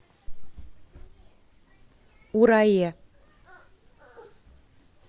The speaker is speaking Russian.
урае